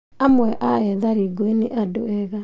Amwe a ethari ngũĩ nĩ andũ ega